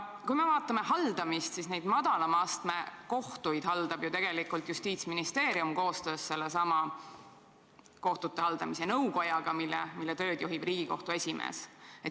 Madalama astme kohtuid haldab ju Justiitsministeerium koostöös sellesama kohtute haldamise nõukojaga, mille tööd juhib Riigikohtu esimees.